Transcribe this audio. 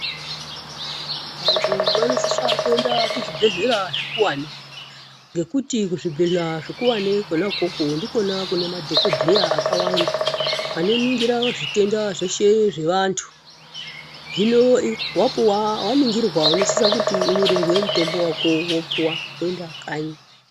Vantu vanosisa kuenda kuzvibhedhlera zvikuwani ngekuti kuzvibhedhlera zvikuwane kona ikoko ndikona kune madhokodheya akawanda, anoningira zvitenda zveshe zvevantu. Hino wapuwa waningirwa unosisa kuti unyorerwe mutombo wako wopuwa woinda kanyi.